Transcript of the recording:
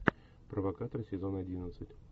провокатор сезон одиннадцать